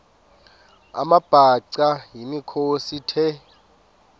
amabhaca yimikhosi the